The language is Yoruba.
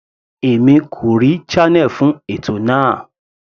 Èmi kò rí channel fún ètò náà.